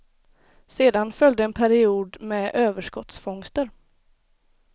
Sedan följde en period med överskottsfångster.